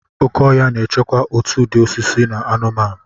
Oke ọhịa na-echekwa òtù ụdị osisi na anụmanụ.